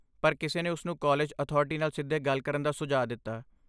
ਪਰ, ਕਿਸੇ ਨੇ ਉਸ ਨੂੰ ਕਾਲਜ ਅਥਾਰਟੀ ਨਾਲ ਸਿੱਧੇ ਗੱਲ ਕਰਨ ਦਾ ਸੁਝਾਅ ਦਿੱਤਾ।